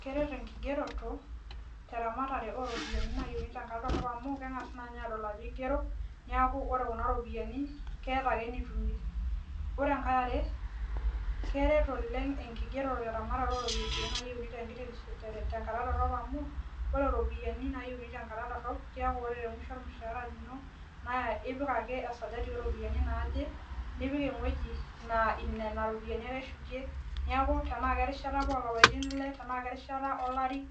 Keret enkigeroto amu keng'asi naa ninye aadol ajo keigeru neeku ore kuna ropiyiani naa keeta ake enitumie ore enkae yare Keret oleng tenkigerore ooropiyiani tenkata dorop amu ore iropiyiani naayiuni tenkata dorop ore temusho ormushaara lino naa ipik ake esajari ooropiyiani naaje nipik ewueji naa nena ropiyiani ake ipik neeku tenaa kerishata apa oolapaitin ile tenaa kerishata olari